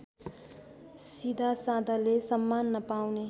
सीधासादाले सम्मान नपाउने